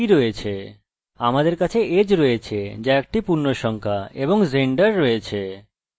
আমাদের কাছে age আছে যা একটি পূর্ণসংখ্যা এবং আমাদের কাছে gender আছে